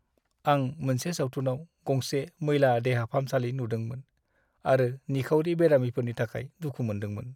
आं मोनसे सावथुनाव गंसे मैला देहा फाहामसालि नुदोंमोन आरो निखावरि बेरामिफोरनि थाखाय दुखु मोनदोंमोन।